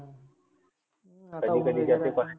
कधी कधी